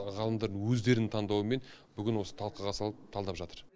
ғалымдардың өздерінің таңдауымен бүгін осы талқыға салып талдап жатыр